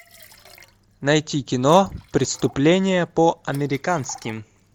найти кино преступление по американски